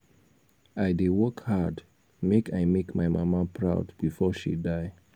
i dey work hard make i make my mama proud before she die.